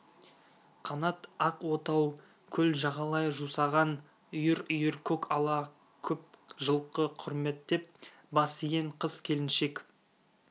қанат ақ отау көл жағалай жусаған үйір-үйір көк ала көп жылқы құрметтеп бас иген қыз-келіншек